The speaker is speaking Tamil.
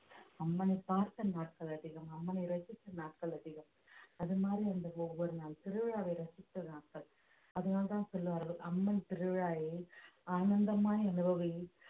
அம்மனை பார்த்த நாட்கள் அதிகம் அம்மனை ரசித்த நாட்கள் அதிகம் அது மாதிரி இருந்த ஒவ்வொரு நாள் திருவிழாவை ரசித்த நாட்கள் அதனால்தான் சொல்வார்கள் அம்மன் திருவிழாவை ஆனந்தமாய் அனுபவி